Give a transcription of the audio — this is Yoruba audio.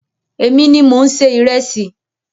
Èmi ni mò ń se ìresì.